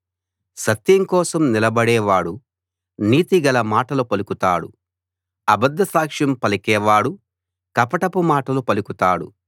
సత్యం కోసం నిలబడేవాడు నీతిగల మాటలు పలుకుతాడు అబద్ద సాక్ష్యం పలికేవాడు కపటపు మాటలు పలుకుతాడు